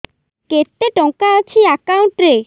କେତେ ଟଙ୍କା ଅଛି ଏକାଉଣ୍ଟ୍ ରେ